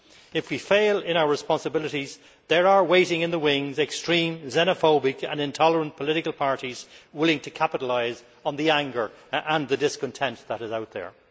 If we fail in our responsibilities, there are waiting in the wings extreme xenophobic and intolerant political parties willing to capitalise on the anger and the discontent that is out there.